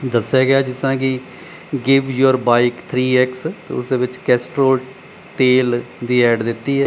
ਦਸਿਆ ਗਿਆ ਐ ਜਿਸ ਤਰ੍ਹਾਂ ਕਿ give your bike three x ਤੇ ਉਸ ਦੇ ਵਿੱਚ ਕੈਸਟਰੋਲ ਤੇਲ ਦੀ ਐ_ਡ ਦਿੱਤੀ ਐ।